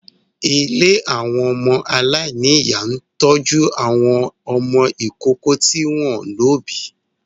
Ilé àwọn ọmọ aláìníyà ń tọ́jú àwọn ọmọ ìkókó tí wọ́n ò lóbìí